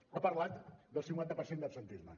ha parlat del cinquanta per cent d’absentisme